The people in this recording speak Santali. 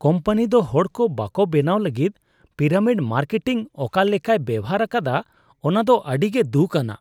ᱠᱳᱢᱯᱟᱱᱤ ᱫᱚ ᱦᱚᱲᱠᱚ ᱵᱚᱠᱟ ᱵᱮᱱᱟᱣ ᱞᱟᱹᱜᱤᱫ ᱯᱤᱨᱟᱢᱤᱰ ᱢᱟᱨᱠᱮᱴᱤᱝ ᱚᱠᱟ ᱞᱮᱠᱟᱭ ᱵᱮᱣᱦᱟᱨ ᱟᱠᱟᱫᱟ ᱚᱱᱟ ᱫᱚ ᱟᱹᱰᱤ ᱜᱮ ᱫᱷᱩᱠᱷ ᱟᱱᱟᱜ ᱾